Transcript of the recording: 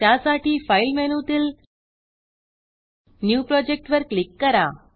त्यासाठी file file मेनूतील new project new project वर क्लिक करा